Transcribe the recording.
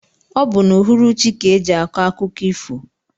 Ọ bu n' uhuruchi ka eji akọ akụkọ ifo.